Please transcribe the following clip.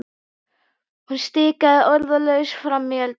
Hún stikaði orðalaust fram í eldhús.